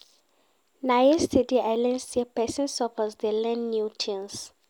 Na yesterday I learn sey pesin suppose dey learn new tins.